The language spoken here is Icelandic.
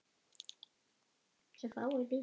Hvernig fékkstu þetta sár?